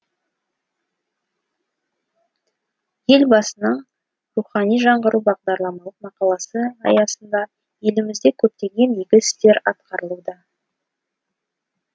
елбасының рухани жаңғыру бағдарламалық мақаласы аясында елімізде көптеген игі істер атқарылуда